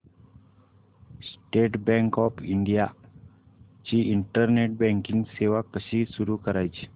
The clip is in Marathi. स्टेट बँक ऑफ इंडिया ची इंटरनेट बँकिंग सेवा कशी सुरू करायची